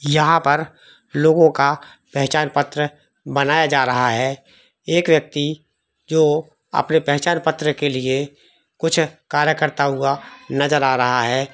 यहां पर लोगो का पहचान पत्र बनाया जा रहा है एक व्यक्ति जो अपने पहचान पत्र के लिए कुछ काला करता हुआ नज़र आ रहा है।